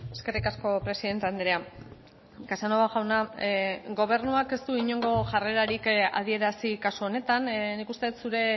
eskerrik asko presidente andrea casanova jauna gobernuak ez du inongo jarrerarik adierazi kasu honetan nik uste dut zure